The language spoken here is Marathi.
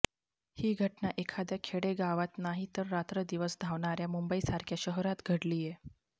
ही घटना एखाद्या खेडेगावात नाही तर रात्रंदिवस धावणाऱ्या मुंबईसारख्या शहरात घडलीय